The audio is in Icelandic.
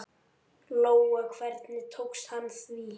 Lóa: Hvernig tók hann því?